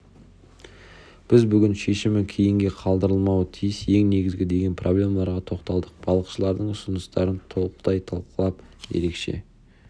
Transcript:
біз бүгін шешімі кейінге қалдырылмауы тиіс ең негізгі деген проблемаларға тоқталдық балықшылардың ұсыныстарын толықтай талқылап ерекше